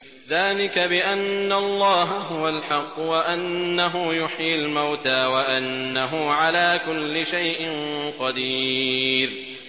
ذَٰلِكَ بِأَنَّ اللَّهَ هُوَ الْحَقُّ وَأَنَّهُ يُحْيِي الْمَوْتَىٰ وَأَنَّهُ عَلَىٰ كُلِّ شَيْءٍ قَدِيرٌ